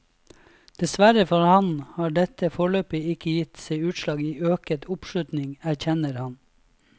Dessverre for ham har dette foreløpig ikke gitt seg utslag i øket oppslutning, erkjenner han.